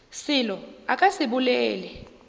selo a ka se bolele